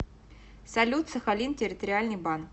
салют сахалин территориальный банк